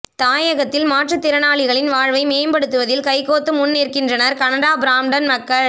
தாயகத்தில் மாற்றுத்திறனாலிகளின் வாழ்வை மேம்படுத்துவதில் கைகோத்து முன்நிற்கின்றனர் கனடா பிராம்டன் மக்கள்